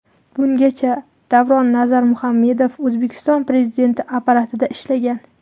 Bungacha Davron Nazarmuhammedov O‘zbekiston Prezidenti Apparatida ishlagan.